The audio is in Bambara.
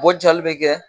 Bɔ jali bɛ kɛ